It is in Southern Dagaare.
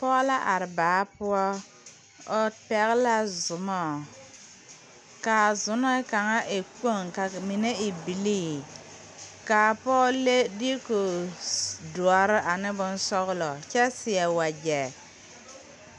Pɔɔ la are baa poɔ o pɛgle la zumɔ kaa zunee kaŋa w kpoŋ ka mine e bilii kaa pɔɔ le diiku doɔre ane bonsɔglɔ kyɛ seɛ wagyɛ.